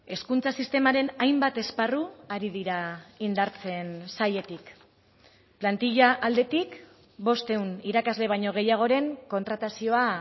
hezkuntza sistemaren hainbat esparru ari dira indartzen sailetik plantilla aldetik bostehun irakasle baino gehiagoren kontratazioa